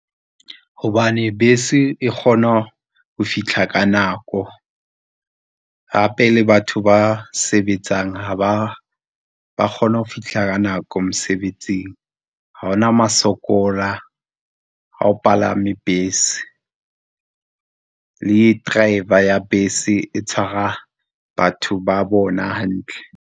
Hobane bese e kgona ho fihla ka nako, hape le batho ba sebetsang ba kgone ho fihla ka nako mosebetsing, ha hona ma sokola ha o palame bese, le driver ya bese e tshwara batho ba bona hantle.